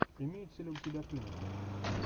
имеется ли у тебя клиника